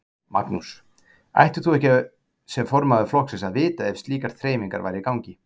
Magnús: Ættir þú ekki sem formaður flokksins að vita ef slíkar þreifingar væru í gangi?